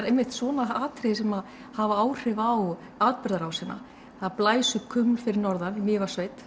einmitt svona atriði sem hafa áhrif á atburðarásina það blæs upp fyrir norðan í Mývatnssveit